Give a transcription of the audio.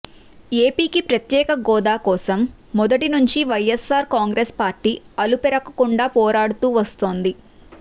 ఏపీకి ప్రత్యేక గోదా కోసం మొదటి నుంచి వైఎస్సార్ కాంగ్రెస్ పార్టీ అలుపెరగకుండా పోరాడుతూ వస్తోంది